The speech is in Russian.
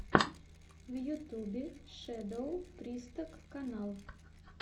в ютюбе шэдоу присток канал